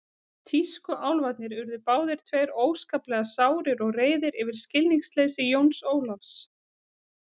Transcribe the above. Tískuálfarnir urðu báðir tveir óskaplega sárir og reiðir yfir skilningsleysi Jóns Ólafs.